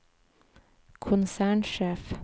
konsernsjef